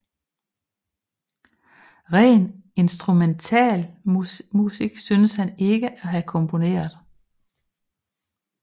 Ren instrumentalmusik synes han ikke at have komponeret